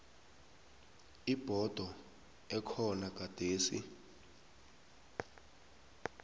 ibhodo ekhona gadesi